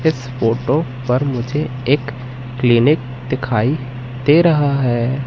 इस फोटो पर मुझे एक क्लीनिक दिखाई दे रहा है।